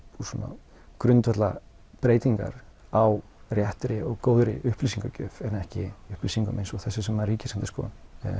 svona grundvallarbreytingar á réttri og góðri upplýsingagjöf en ekki upplýsingum eins og þessum sem Ríkisendurskoðun